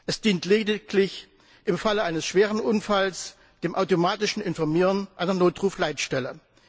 Es dient lediglich im Fall eines schweren Unfalls dem automatischen Informieren einer Notruf Leitstelle.